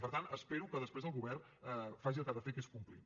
per tant espero que després el govern faci el que ha de fer que és complir